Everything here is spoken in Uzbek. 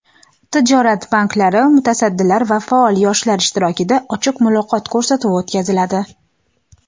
tijorat banklari mutasaddilari va faol yoshlar ishtirokida "Ochiq muloqot" ko‘rsatuvi o‘tkaziladi.